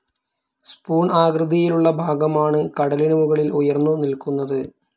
Spoon ആകൃതിയിലുള്ളഭാഗമാണ് കടലിനുമുകളിൽ ഉയർന്നു നിൽക്കുന്നത്.